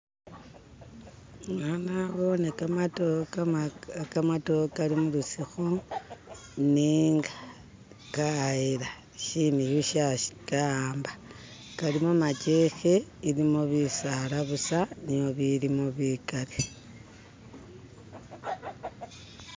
Eya nabone gamadote gamadote galimulusuku nenga gayeela, shinihu Shashikawamba, galimo majeeke, mulimo bisaala buusa niyo ibilimo bikaali